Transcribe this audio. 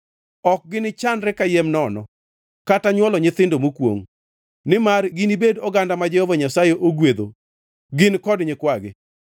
Ok gini chandre kayiem nono, kata nywolo nyithindo mokwongʼ; nimar ginibedi oganda ma Jehova Nyasaye, ogwedho gin kod nyikwagi.